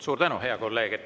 Suur tänu, hea kolleeg!